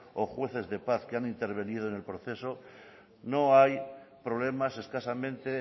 o jueces de paz que han intervenido en el proceso no hay problemas escasamente